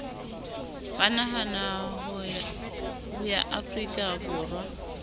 ba naha ya afrika borwa